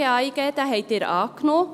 Diesen haben Sie angenommen.